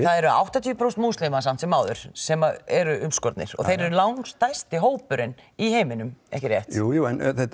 það eru áttatíu prósent múslima samt sem áður sem eru umskornir og þeir eru langstærsti hópurinn í heiminum ekki rétt jú